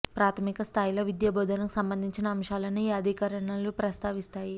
ప్రాథమిక స్థాయిలో విద్యా బోధనకు సంబంధించిన అంశాలను ఈ అధికరణలు ప్రస్తావిస్తాయి